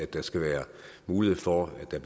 der skal være mulighed for at der